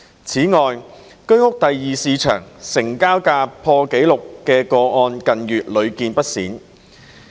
此外，居屋第二市場成交價破紀錄的個案近月屢見不鮮。